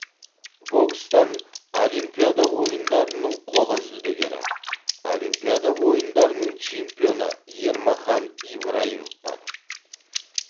бокстан олимпиада ойындарының қола жүлдегері олимпиада ойындарының чемпионы ермахан ибраимов бар